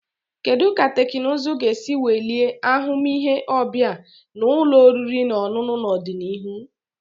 Kedu ka teknụzụ ga-esi welie ahụmịhe ọbịa na ụlọ oriri na ọṅụṅụ n'ọdịnihu?